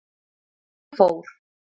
Ég fór.